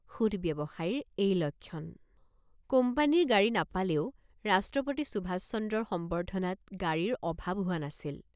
শুধ ব্যৱসায়ীৰ এই লক্ষণ! কোম্পানীৰ গাড়ী নাপালেও ৰাষ্ট্ৰপতি সুভাষচন্দ্ৰৰ সম্বৰ্ধনাত গাড়ীৰ অভাৱ হোৱা নাছিল।